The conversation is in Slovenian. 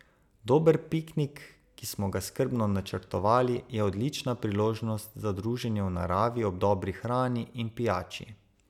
Dober piknik, ki smo ga skrbno načrtovali, je odlična priložnost za druženje v naravi ob dobri hrani in pijači.